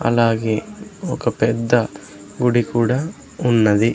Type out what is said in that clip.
అలాగే ఒక పెద్ద గుడి కూడా ఉన్నది.